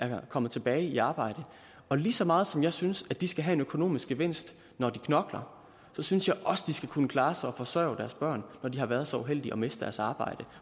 er kommet tilbage i arbejde og lige så meget som jeg synes at de skal have en økonomisk gevinst når de knokler synes jeg også at de skal kunne klare sig og forsørge deres børn når de har været så uheldige at miste deres arbejde